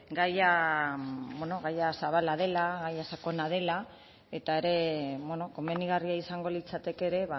gaia gaia zabala dela gaia sakona dela eta ere komenigarria izango litzateke ere